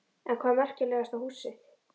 En hvað er merkilegasta húsið?